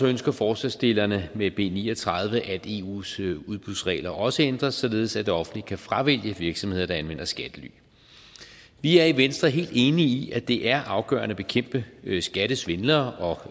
ønsker forslagsstillerne med b ni og tredive at eus udbudsregler også ændres således at det offentlige kan fravælge virksomheder der anvender skattely vi er i venstre helt enige i at det er afgørende at bekæmpe skattesvindlere